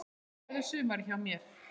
Hvernig verður sumarið hjá þér?